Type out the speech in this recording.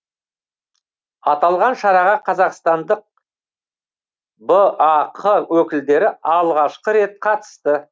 аталған шараға қазақстандық бақ өкілдері алғашқы рет қатысты